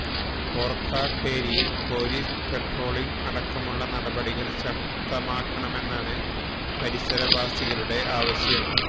ഓർക്കാട്ടേരിയിൽ police patrolling അടക്കമുള്ള നടപടികൾ ശക്തമാക്കണമെന്നാണ് പരിസരവാസികളുടെ ആവശ്യം